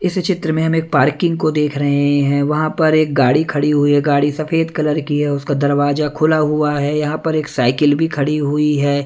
इस चित्र में हम एक पार्किंग को देख रहे हैं वहां पर एक गाड़ी खड़ी हुई है गाड़ी सफेद कलर की है उसका दरवाजा खुला हुआ है यहां पर एक साइकिल भी खड़ी हुई है।